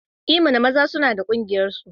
I mana! maza suna da ƙungiyarsu.